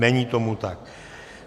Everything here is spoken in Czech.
Není tomu tak.